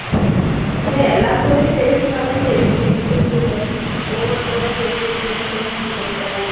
இன்னும் எல்லாரு கூடையும் பேசுனாதான் தெரியுது interview ல ஒவ்வொருத்தவங்க எப்படி எப்படியெல்லாம் question கேக்குறாங்க